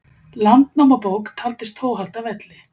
Landnámabók taldist þó halda velli.